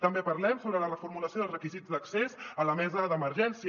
també parlem sobre la reformulació dels requisits d’accés a la mesa d’emergèn·cia